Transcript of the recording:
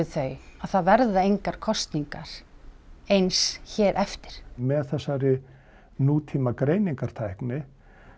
þau að það verða engar kosningar eins hér eftir með þessari nútíma greiningartækni